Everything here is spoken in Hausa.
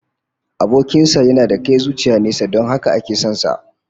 Abokin sa yana da kai zuciya nesa don haka ake son sa